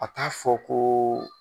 A t'a fɔ ko